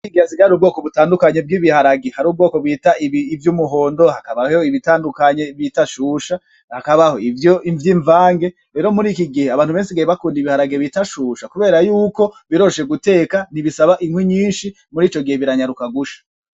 Murikigihe hasigaye harubwoko butandukanye bw'ibiharage, hariho ubwoko bita ibi vy'umuhondo, hakabaho ibitandukanye bita shusha, hakabaho ivyinvange rero murikigihe abantu bari basigaye bakunda ibiharage bita shusha kuberayuko biroroshe guteka ntibisaba inkwi nyinshi mur’icogihe biranyaruka gusha.